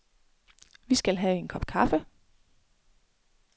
Vi skal have en kop kaffe.